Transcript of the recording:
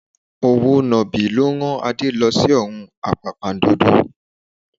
Òwò nàbì ló rán Adé lọ sí ọ̀run àpàpàǹdodo